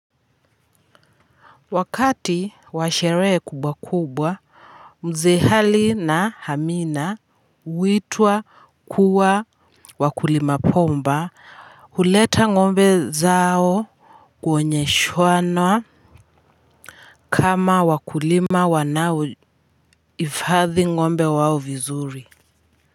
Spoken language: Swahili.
Wakati wa sherehe kubwa kubwa mzee hali na hamina huitwa kuwa wakulima bomba huleta ngombe zao kuonyeshana kama wakulima wanaohifathi ngombe wao vizuri.